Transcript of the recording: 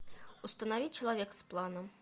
установи человек с планом